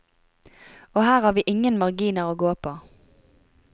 Og her har vi ingen marginer å gå på.